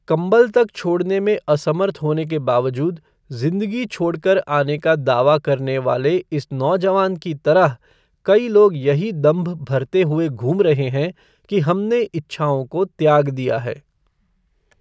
कंबल तक छोड़ने में असमर्थ होने के बावजूद जिंदगी छोड़ कर आने का दावा करने वाले इस नौजवान की तरह कई लोग यही दंभ भरते हुए घूम रहे हैं कि हमने इच्छाओं को त्याग दिया है।